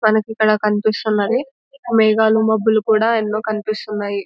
మనకి ఇక్కడ కనిపిస్తున్నది మేఘాలుమబ్బులు కూడా ఎన్నో కనిపిస్తున్నాయి.